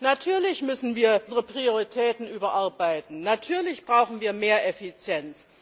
Natürlich müssen wir unsere Prioritäten überarbeiten, natürlich brauchen wir mehr Effizienz.